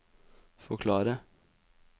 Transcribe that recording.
forklare